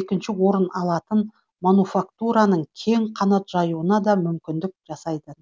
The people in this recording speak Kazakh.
екінші орын алатын мануфактураның кең қанат жаюуына да мүмкіндік жасайды